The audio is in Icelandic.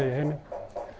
í heimi